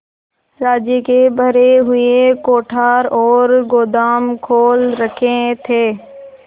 राज्य के भरे हुए कोठार और गोदाम खोल रखे थे